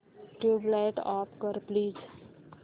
tubelight off कर please